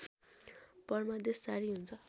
परमादेश जारी हुन्छ